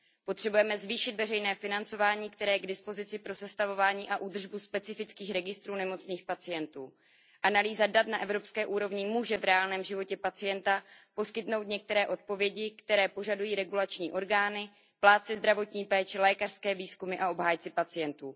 Potřebujeme zvýšit veřejné financování, které je k dispozici pro sestavení a údržbu specifických registrů nemocných pacientů. Analýza dat na evropské úrovni může v reálném životě pacienta poskytnout některé odpovědi, které požadují regulační orgány, plátci zdravotní péče, lékařské výzkumy a obhájci pacientů.